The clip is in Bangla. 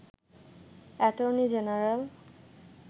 attorney general